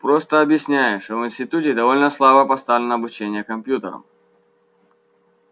просто объясняю что в институте довольно слабо поставлено обучение компьютерам